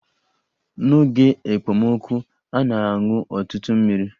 N'oge ekpomọkụ, na-aṅụ ọtụtụ mmiri